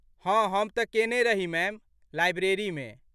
हँ हम तँ केने रही मैम, लाइब्रेरीमे।